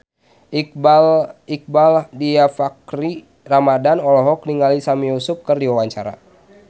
Iqbaal Dhiafakhri Ramadhan olohok ningali Sami Yusuf keur diwawancara